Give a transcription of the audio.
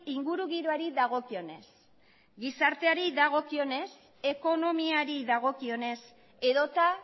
ingurugiroari dagokionez gizarteari dagokionez ekonomiari dagokionez edota